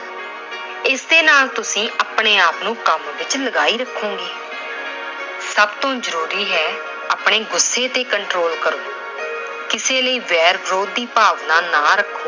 ਇਸ ਦੇ ਨਾਲ ਤੁਸੀਂ ਆਪਣੇ ਆਪ ਨੂੰ ਕੰਮ ਵਿਚ ਲਗਾਈ ਰੱਖੋਗੇ। ਸਭ ਤੋਂ ਜ਼ਰੂਰੀ ਹੈ- ਆਪਣੇ ਗੁੱਸੇ ਤੇ control ਕਰੋ। ਕਿਸੇ ਲਈ ਵੈਰ ਵਿਰੋਧ ਦੀ ਭਾਵਨਾ ਨਾ ਰੱਖੋ।